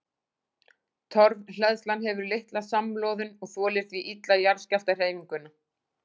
Torfhleðslan hefur litla samloðun og þolir því illa jarðskjálftahreyfinguna.